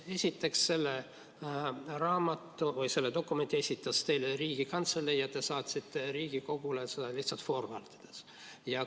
Esiteks, selle raamatu või selle dokumendi esitas teile Riigikantselei ja teie saatsite selle Riigikogule edasi lihtsalt "Forward".